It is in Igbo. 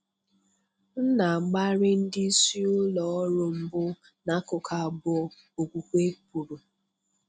M na-agbari ndị isi ụlọ ọrụ mbụ n'akụkụ abụọ,' Okwukwe kwuru.